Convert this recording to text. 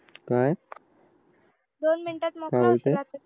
काय दोन मिनिटात मोकळं होशील आता तू